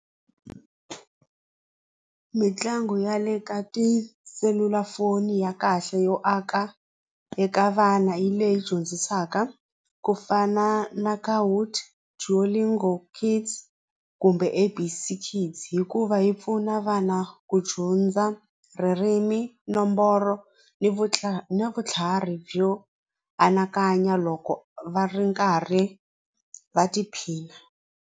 Mitlangu ya le ka tiselulafoni ya kahle yo aka eka vana hi leyi dyondzisaka ku fana na kumbe A_B_C Kids hikuva yi pfuna vana ku dyondza ririmi nomboro ni vutlhari byo anakanya loko va ri karhi va tiphina.